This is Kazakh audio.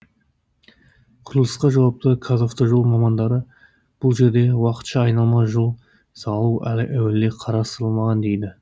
құрылысқа жауапты қазавтожол мамандары бұл жерде уақытша айналма жол салу әуелде қарастырылмаған дейді